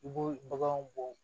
I bɛ baganw bɔ